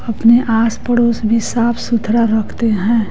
अपने आस पड़ोस भी साफ सुथरा रखते हैं।